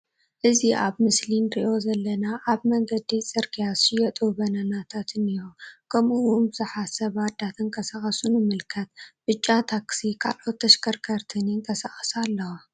እዚ ኣብ ምስሊ እንሪኦ ዘለና ኣብ መንገዲ ጽርግያ ዝሽየጡ በናናታት እኒሁ ከምኡውን ቡዝሓት ሰባት ዳ ተቀሳቀሱ ንምልከት ብጫ ታክሲ ካልኦት ተሽከርከርትን ይንቀሳቀሳ ኣለዋ።